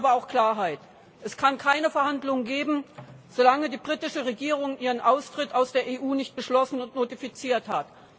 Wir wollen aber auch Klarheit. Es kann keine Verhandlungen geben, solange die britische Regierung ihren Austritt aus der EU nicht beschlossen und notifiziert hat.